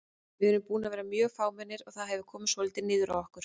Við erum búnir að vera mjög fámennir og það hefur komið svolítið niður á okkur.